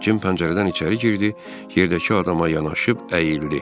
Jim pəncərədən içəri girdi, yerdəki adama yanaşıb əyildi.